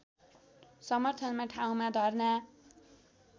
समर्थनमा ठाउँमा धर्ना